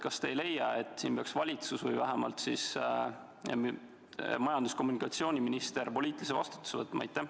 Kas te ei leia, et siin peaks valitsus või vähemalt majandus- ja kommunikatsiooniminister poliitilise vastutuse võtma?